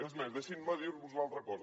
és més deixin me dir los una altra cosa